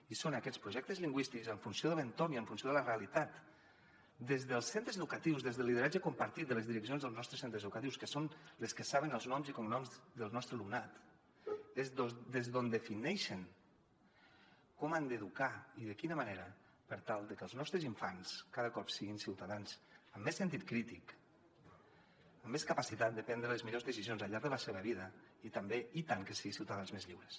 i són aquests projectes lingüístics en funció de l’entorn i en funció de la realitat des dels centres educatius des del lideratge compartit de les direccions dels nostres centres educatius que són les que saben els noms i cognoms del nostre alumnat és des d’on defineixen com han d’educar i de quina manera per tal de que els nostres infants cada cop siguin ciutadans amb més sentit crític amb més capacitat de prendre les millors decisions al llarg de la seva vida i també i tant que sí ciutadans més lliures